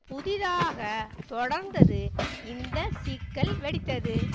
புதிதாக தொடர்ந்தது இந்த சிக்கல் வெடித்தது